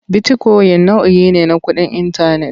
Bitikoyin nau'i ne na kuɗin intanet.